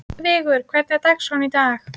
Vigur, hvernig er dagskráin í dag?